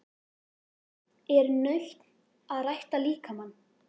Er nautn að rækta líkamann?